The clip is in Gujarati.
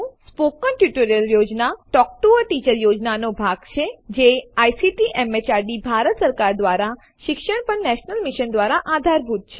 મૌખિક ટ્યુટોરિયલ યોજના ટોક ટૂ અ ટીચર યોજનાનો એક ભાગ છે જે આઇસીટી એમએચઆરડી ભારત સરકાર દ્વારા શિક્ષણ પર નેશનલ મિશન દ્વારા આધારભૂત છે